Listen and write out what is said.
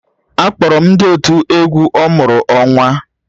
Akpọrọ m ndị otu egwu ọmụrụ-onwa